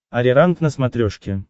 ариранг на смотрешке